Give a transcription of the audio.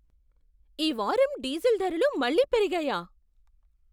ఈ వారం డీజిల్ ధరలు మళ్ళీ పెరిగాయా?